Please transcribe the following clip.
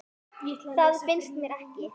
Það finnst mér ekki.